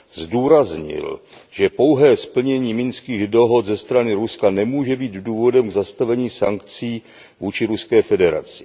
Zdůraznil, že pouhé splnění minských dohod ze strany Ruska nemůže být důvodem k zastavení sankcí vůči Ruské federaci.